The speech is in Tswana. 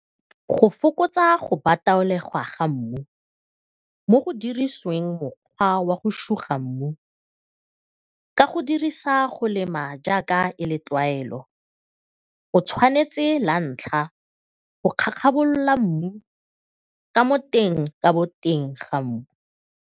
Go fokotsa go bataolegwa ga mmu mo go dirisiwang mokgwa wa go suga mmu ka go dirisa go lema jaaka e le tlwaelo o tshwanetse la ntlha go kgakgabolola mmu ka mo teng ka boteng ga mmu.